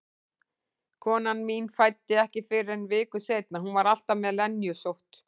Konan mín fæddi ekki fyrr en viku seinna, hún var alltaf með lenjusótt.